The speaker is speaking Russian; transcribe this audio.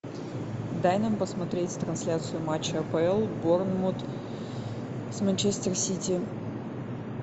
дай нам посмотреть трансляцию матча апл борнмут с манчестер сити